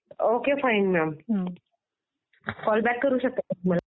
Okay fine ma'am. Call back करू शकता तुम्ही.